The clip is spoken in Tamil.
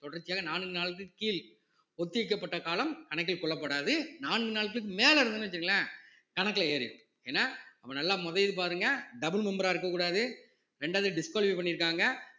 தொடர்ச்சியாக நான்கு நாளுக்கு கீழ் ஒத்திவைக்கப்பட்ட காலம் கணக்கில் கொள்ளப்படாது நான்கு நாட்களுக்கு மேல இருந்ததுன்னு வச்சுக்கோங்களேன் கணக்குல ஏறிரும் ஏன்னா அப்ப நல்லா மோதயுது பாருங்க double member ஆ இருக்கக் கூடாது ரெண்டாவது disqualify பண்ணிருக்காங்க